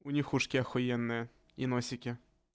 у них ушки охуенные и носики